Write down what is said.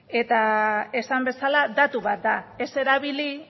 eta esan bezala datu bat da ez erabili